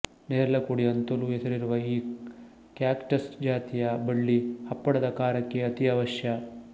ನೆರಲೆಕುಡಿ ಅಂತಲೂ ಹೆಸರಿರುವ ಈ ಕ್ಯಾಕ್ಟಸ್ ಜಾತಿಯ ಬಳ್ಳಿ ಹಪ್ಪಳದ ಖಾರಕ್ಕೆ ಅತೀ ಅವಶ್ಯ